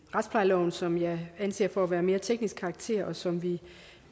retsplejeloven som jeg anser for at være af mere teknisk karakter og som vi